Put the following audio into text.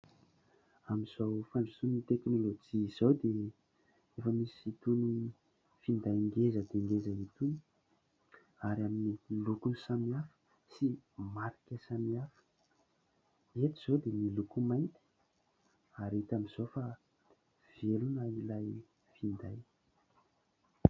Amin'izao fandrosoan'ny teknôlôjia izao dia efa misy itony finday ngeza dia ngeza itony ary amin'ny lokony samihafa sy marika samihafa. Eto izao dia ny loko mainty ary hita amin'izao fa velona ilay finday.